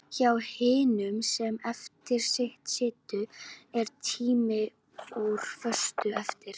Hjá hinum sem eftir situr er tíminn úr föstu efni.